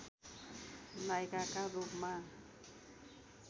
नायिकाका रूपमा